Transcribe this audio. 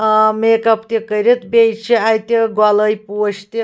آمیکپ .تہِ کٔرِتھ بیٚیہِ چھ اَتہِ گۄلٲبۍپوش تہِ